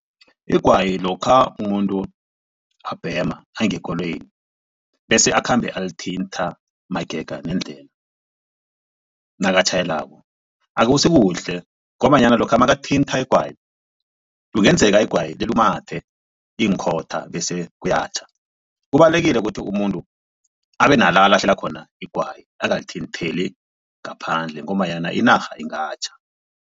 Igwayi lokha umuntu abhema angekoloyini bese akhambe alithintha magega nendlela nakatjhayelako akusikuhle ngombanyana lokha makathintha igwayi kungenzeka igwayi lilumathe iinkhotha bese kuyatjha. Kubalulekile ukuthi umuntu abe nala alahlela khona igwayi angalithintheli ngaphandle ngombanyana inarha ingatjha.